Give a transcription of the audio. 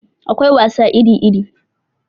Akwai wasa iri iri